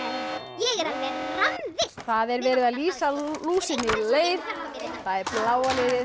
ég er alveg rammvillt það er verið að lýsa lúsinni leið það er bláa liðið